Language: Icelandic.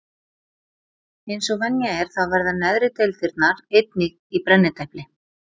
Eins og venja er þá verða neðri deildirnar einnig í brennidepli.